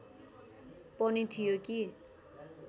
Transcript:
पनि थियो कि